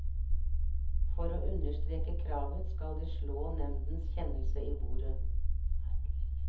For å understreke kravet skal de slå nemndens kjennelse i bordet.